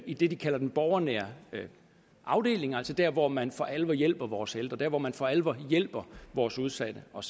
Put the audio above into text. i det de kalder den borgernære afdeling altså der hvor man for alvor hjælper vores ældre der hvor man for alvor hjælper vores udsatte og